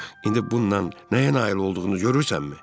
İndi bundan nəyə nail olduğumu görürsənmi?